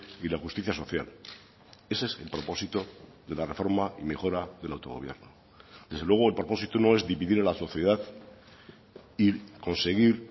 y la justicia social ese es el propósito de la reforma y mejora del autogobierno desde luego el propósito no es dividir a la sociedad y conseguir